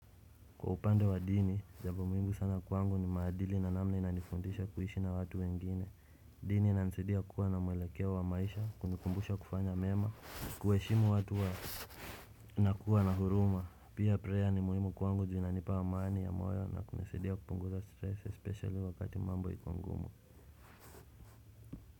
Kwa upande wa dini, jambo muhimu sana kwangu ni maadili na namna inanifundisha kuishi na watu wengine. Dini inanisaidia kuwa na mwelekeo wa maisha, kunikumbusha kufanya mema, kuheshimu watu na kuwa na huruma. Pia preya ni muhimu kwangu juu inanipa wa amani ya moyo na kunisaidia kupunguza stress especially wakati mambo ikiwa ngumu.